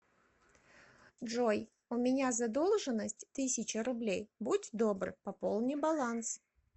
джой у меня задолженность тысяча рублей будь добр пополни баланс